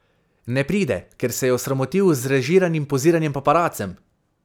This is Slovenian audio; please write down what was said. Ne pride, ker se je osramotil z zrežiranim poziranjem paparacem?